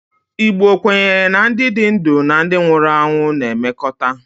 Igbo kwenyere na ndi di ndu na ndi nwuru anwụ na-emekọta